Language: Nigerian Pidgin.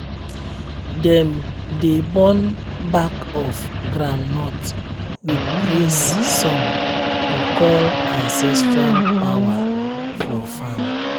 dem dey burn back of groundnut with praise song to call ancestral power for farm.